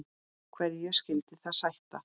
Hverju skyldi það sæta?